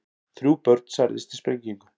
Þrjú börn særðust í sprengingu